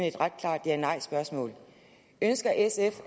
et ret klart ja nej spørgsmål ønsker sf